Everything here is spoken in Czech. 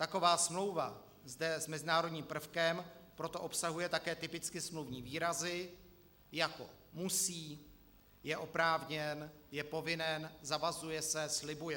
Taková smlouva, zde s mezinárodním prvkem, proto obsahuje také typicky smluvní výrazy, jako musí, je oprávněn, je povinen, zavazuje se, slibuje.